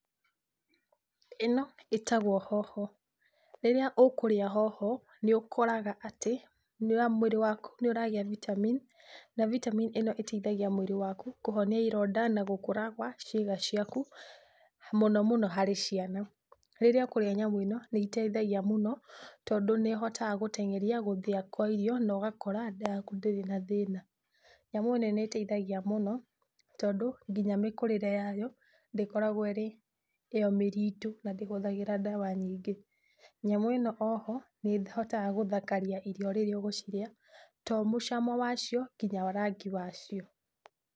Ĩno ĩtagwo hoho, rĩrĩa ũkũrĩa hoho nĩ ũkoragwo atĩ mwĩrĩ waku nĩ ũragĩa vitamin na vitamin ĩno ĩteithagia mwĩrĩ waku kũhonĩa ĩronda na gũkũra gwa ciĩga ciaku mũno mũno harĩ ciana. Rĩrĩa ũkũrĩa nyamũ ĩno nĩ ĩteithagia mũno tondũ nĩ ĩhotaga gũteng'eria gũthĩya kwa irio na ũgakora nda yaku ndĩrĩ na thĩna. Nyamũ ĩno nĩ ĩteithagia tondũ nginya mĩkũrĩre yayo ndĩkoragwo ĩrĩ mĩritũ na ndĩhũthagĩra ndawa nyingĩ. Nyamũ ĩno oho nĩ ĩhotaga gũthakaria irio na rĩrĩa ũgũcirĩa to mũcamo wacio nginya rangi wacio.